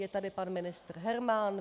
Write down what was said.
Je tady pan ministr Herman.